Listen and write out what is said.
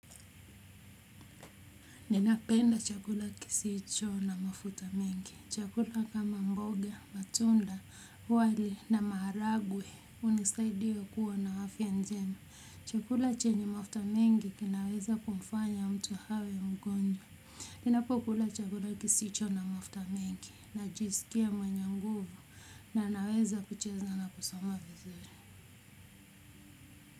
Ninapenda chakula kisicho na mafuta mingi. Chakula kama mboga, matunda, wali na maharagwe hunisaidia kuwa na afya njema. Chakula chenye mafuta mengi kinaweza kumfanya mtu awe mgonjwa ninapokula chakula kisicho na mafuta mengi najisikia mwenye nguvu na naweza kucheza na kusoma vizuri.